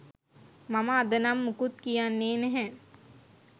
මම අද නම් මොකුත් කියන්නේ නැහැ